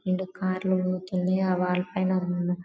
రెండు కార్ లు పోతుంది అ వాల్ పైనా ఉన్న--